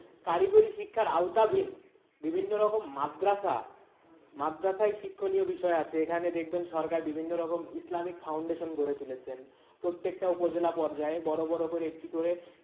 কারিগরি শিক্ষার আওতাভীন বিভিন্ন রকম মাদ্রাসা মাদ্রাসায় শিক্ষণীয় বিষয় আছে এখানে দেখবেন সরকার বিভিন্ন রকম ইসলামী foundation গড়ে তুলেছেন প্রত্যেকটা উপজেলা পর্যায়ে বড় বড় করে একটি করে,